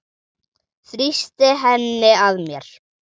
Þrýsti henni að mér.